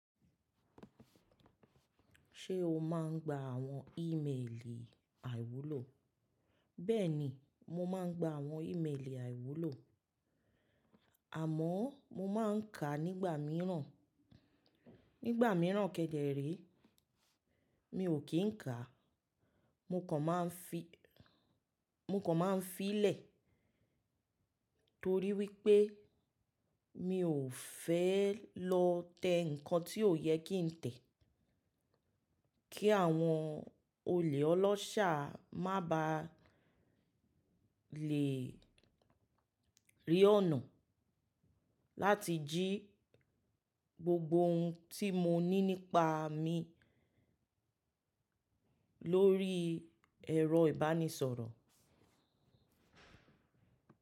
Ṣé o máa ń gba àwọn í mélì àìwúlò? Bẹ́ẹ̀ni, mo máa ń gba àwọn í mélì àìwúlò, àmọ́ mo máa ń kà á nígbà míràn. Nígbà míràn kẹ́dẹ̀ ré, mi ò kí ń kà á, mo kàn máa ń fi lẹ̀ torí wípé mi ò fẹ́ lọ tẹ ǹkan tí ò yẹ kí ń tẹ̀. Kí àwọn olè ọlọ́ṣà má ba à le rí ọ̀nà láti jí gbogbo ohun tí mo ní nípa mi lórí ẹ̀rọ ìbánisọ̀rọ̀.